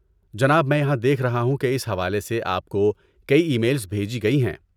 جناب، میں یہاں دیکھ رہا ہوں کہ اس حوالے سے آپ کو کئی ای میلز بھیجی گئی ہیں۔